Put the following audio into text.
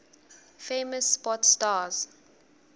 famous sport stars